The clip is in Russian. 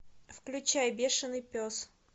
включай бешеный пес